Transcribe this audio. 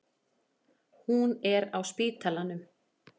Hún er á spítalanum.